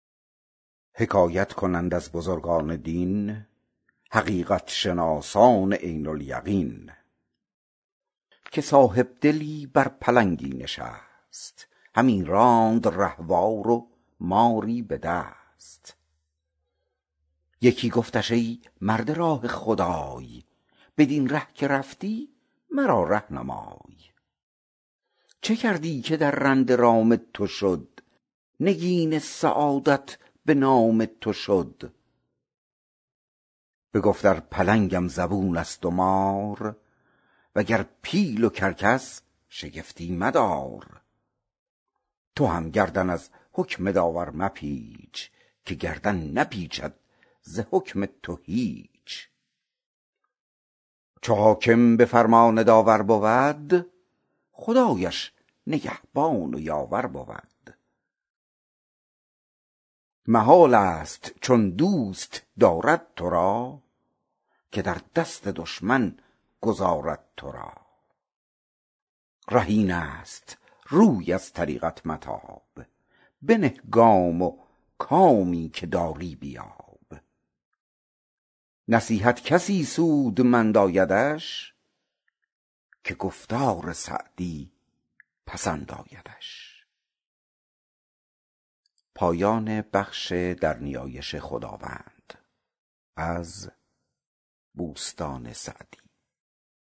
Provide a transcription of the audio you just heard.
حکایت کنند از بزرگان دین حقیقت شناسان عین الیقین که صاحبدلی بر پلنگی نشست همی راند رهوار و ماری به دست یکی گفتش ای مرد راه خدای بدین ره که رفتی مرا ره نمای چه کردی که درنده رام تو شد نگین سعادت به نام تو شد بگفت ار پلنگم زبون است و مار وگر پیل و کرکس شگفتی مدار تو هم گردن از حکم داور مپیچ که گردن نپیچد ز حکم تو هیچ چو حاکم به فرمان داور بود خدایش نگهبان و یاور بود محال است چون دوست دارد تو را که در دست دشمن گذارد تو را ره این است روی از طریقت متاب بنه گام و کامی که داری بیاب نصیحت کسی سودمند آیدش که گفتار سعدی پسند آیدش